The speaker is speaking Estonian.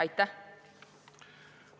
Aitäh!